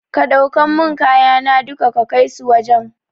Ka ɗauka mun kayana duka ka kaisu wajan